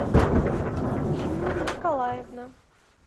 инна николаевна